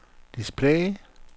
display